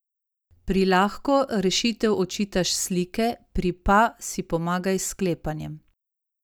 Pri lahko rešitev odčitaš s slike, pri pa si pomagaj s sklepanjem.